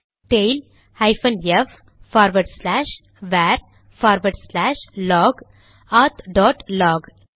tail hyphen F forward slash var forward slash log auth dot lock